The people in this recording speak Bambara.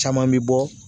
Caman bɛ bɔ